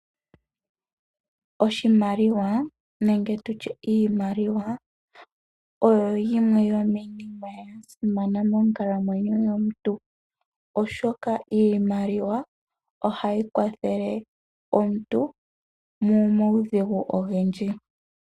Iimaliwa oyo yimwe yomiinima ya simana monkalamwenyo yomuntu oshoka iimaliwa ohayi kwathele omuntu momawudhigu ogendji.